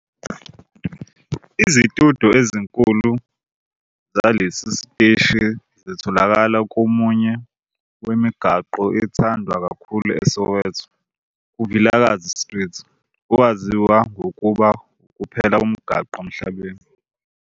Izitudiyo ezinkulu zalesi siteshi zitholakala komunye wemigwaqo ethandwa kakhulu eSoweto, kuVilakazi Street, owaziwa ngokuba ukuphela komgwaqo emhlabeni